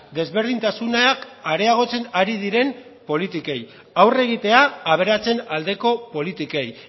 desberdintasunak areagotzen ari diren politikei aurre egitea aberatsen aldeko politikei